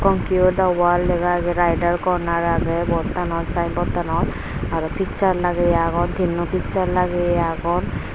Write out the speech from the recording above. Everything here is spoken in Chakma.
conquer the world lega age riders corner aage board tanod signboard tanod aro picture lageye agon tinno picture lagiye agon.